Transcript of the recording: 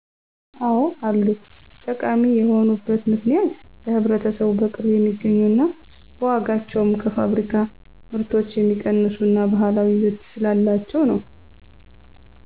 አዎ አሉ። ጠቃሚ የሆኑበት ምክንያት ለህብረተሰቡ በቅርብ የሚገኙ ና በዋጋቸውም ከፋብሪካ ምርቶች የሚቀንሱ እና ባህላዊ ይዘት ስላላቸው ነው።